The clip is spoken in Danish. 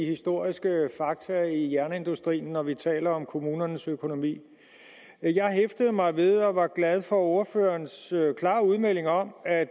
de historiske fakta i jernindustrien når vi taler om kommunernes økonomi jeg hæftede mig ved og var glad for ordførerens klare udmelding om at